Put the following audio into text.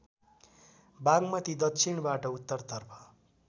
बागमती दक्षिणबाट उत्तरतर्फ